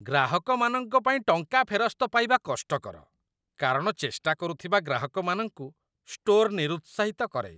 ଗ୍ରାହକମାନଙ୍କ ପାଇଁ ଟଙ୍କା ଫେରସ୍ତ ପାଇବା କଷ୍ଟକର କାରଣ ଚେଷ୍ଟା କରୁଥିବା ଗ୍ରାହକମାନଙ୍କୁ ଷ୍ଟୋର୍‌ ନିରୁତ୍ସାହିତ କରେ